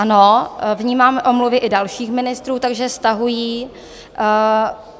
Ano, vnímám omluvy i dalších ministrů, takže stahují.